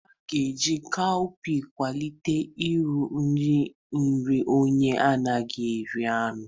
A ga-eji cowpeas kwalite uru nri nri onye anaghị eri anụ.